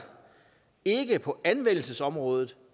ikke på anvendelsesområdet